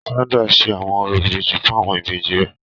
Sandra n ṣe awọn orȯ ìbejì fun awọn ìbejì rẹ.